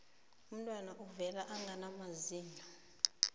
umntwana uvela angana mazinyo